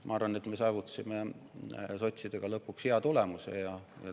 Ma arvan, et me saavutasime sotsidega lõpuks hea tulemuse.